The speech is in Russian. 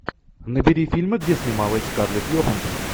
набери фильмы где снималась скарлетт йоханссон